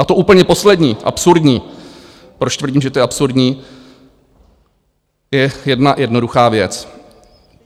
A to úplně poslední absurdní, proč tvrdím, že to je absurdní, je jedna jednoduchá věc.